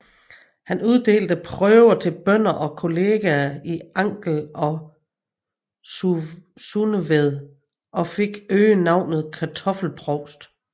Han uddelte prøver til bønder og kolleger i Angel og Sundeved og fik øgenavnet kartoffelprovst